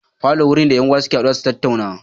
Falo wuri ne da 'yan uwa suke haduwa su tattauna